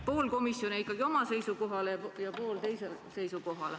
... pool komisjoni jäi ikkagi ühele ja pool teisele seisukohale.